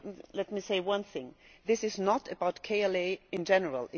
Let me say one thing this is not about KLA in general